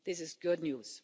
This is good news.